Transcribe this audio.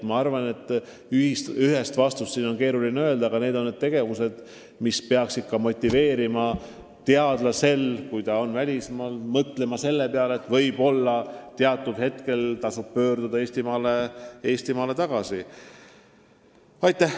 Ma arvan, et ühest vastust on siin keeruline anda, aga need on tegevused, mis peaksid välismaal töötavat teadlast motiveerima mõtlema, et võib-olla mingil ajal tasub Eestimaale tagasi pöörduda.